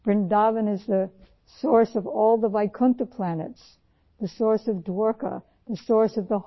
ورندا one تمام ویکنٹھ سیاروں کا وسیلہ ہے ، دواریکا کا وسیلہ ہے